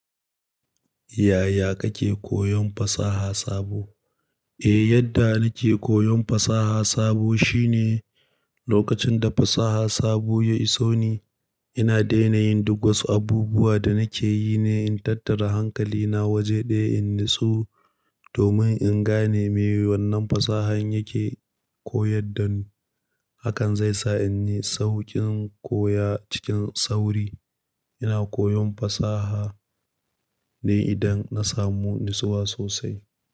Yaya kake koyon fasaha sabo? Eh, yadda nake koyon fasaha sabo shine lokacin da fasaha sabo ya iso ni, ina daina yin duk wasu abubuwa da nake yi ne in tattara hankalina waje ɗaya in nitsu domin in gane me wannan fasahan yake koyar da ni. Hakan zai sa in yi sauƙin koya cikin sauri. Ina koyon fasaha ne idan na samu nitsuwa sosai.